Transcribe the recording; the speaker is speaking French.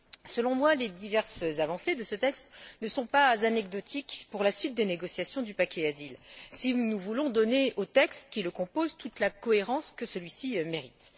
Selon moi, les diverses avancées de ce texte ne sont pas anecdotiques pour la suite des négociations du paquet Asile, si nous voulons donner au texte qui le compose toute la cohérence que celui ci mérite.